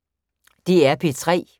DR P3